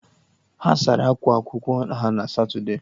Ha sara akwa akwụkwọ ha na Satọdee.